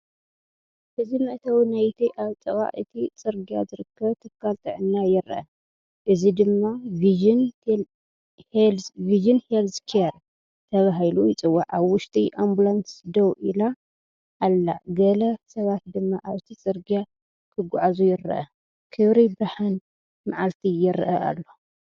እዚ መእተዊ ናይቲ ኣብ ጥቓ እቲ ጽርግያ ዝርከብ ትካል ጥዕና ይርአ፡ እዚ ድማ ቪዥን ሄልዝ ኬር ተባሂሉ ይጽዋዕ። ኣብ ውሽጢ ኣምቡላንስ ደው ኢላ ኣላ፡ ገለ ሰባት ድማ ኣብቲ ጽርግያ ክጓዓዙ ይረኣዩ። ክብሪ ብርሃን መዓልቲ ይረአ ኣሎ።